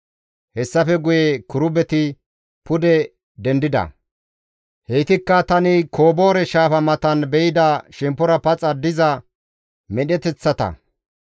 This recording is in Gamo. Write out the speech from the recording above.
Hessafe guye kirubeti pude dendida. Heytikka tani Koboore shaafa matan be7ida shemppora paxa diza medheteththata.